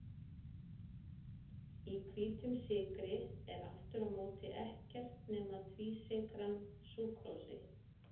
í hvítum sykri er aftur á móti ekkert nema tvísykran súkrósi